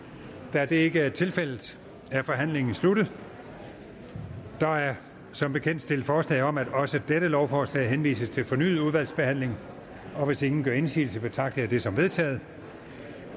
da det ikke er tilfældet er forhandlingen sluttet der er som bekendt stillet forslag om at også dette lovforslag henvises til fornyet udvalgsbehandling hvis ingen gør indsigelse betragter jeg det som vedtaget